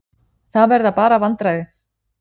Það verða bara vandræði.